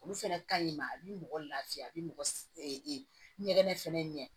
Olu fɛnɛ ka ɲi ma a bi mɔgɔ lafiya a bi mɔgɔ ɲɛgɛn fɛnɛ ɲɛ